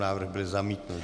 Návrh byl zamítnut.